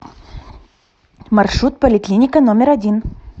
маршрут поликлиника номер один